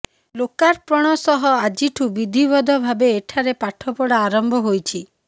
ଲୋକାର୍ପଣ ସହ ଆଜିଠୁ ବିଧିବଦ୍ଧ ଭାବେ ଏଠାରେ ପାଠପଢା ଆରମ୍ଭ ହୋଇଛି